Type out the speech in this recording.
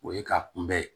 O ye ka kunbɛn